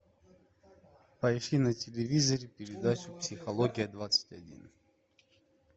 поищи на телевизоре передачу психология двадцать один